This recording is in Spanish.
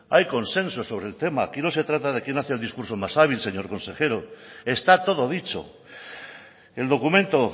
hay consenso sobre el tema aquí no se trata de quién hace el discurso más hábil señor consejero está todo dicho el documento